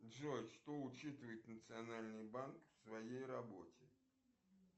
джой что учитывает национальный банк в своей работе